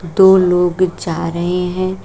दो लोग जा रहे हैं।